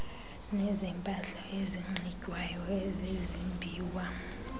nezempahla enxitywayo ezezimbiwa